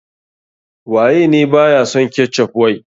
Waye ne ba ya son ketchup wai.